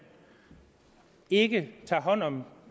ikke tager hånd om